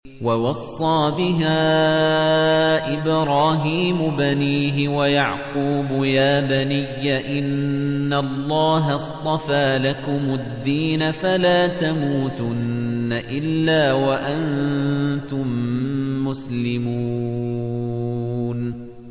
وَوَصَّىٰ بِهَا إِبْرَاهِيمُ بَنِيهِ وَيَعْقُوبُ يَا بَنِيَّ إِنَّ اللَّهَ اصْطَفَىٰ لَكُمُ الدِّينَ فَلَا تَمُوتُنَّ إِلَّا وَأَنتُم مُّسْلِمُونَ